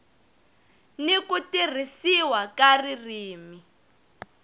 n ku tirhisiwa ka ririmi